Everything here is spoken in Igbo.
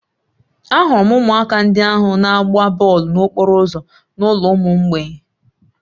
Ahụrụ m ụmụaka ndị ahụ na-agba bọọlụ n'okporo ụzọ n'ụlọ ụmụ mgbei